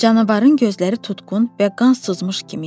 Canavarın gözləri tutqun və qan sızmış kimi idi.